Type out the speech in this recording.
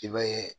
I b'a ye